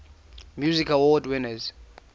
music awards winners